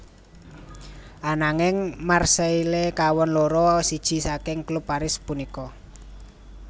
Ananging Marseille kawon loro siji saking klub Paris punika